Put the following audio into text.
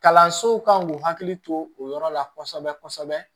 Kalansow kan k'u hakili to o yɔrɔ la kosɛbɛ-kosɛbɛ